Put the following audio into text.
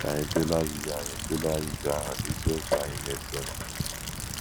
Ka anyị tụlee ajụjụ anyị tụlee ajụjụ ahụ n’isiokwu anyị na - esonụ.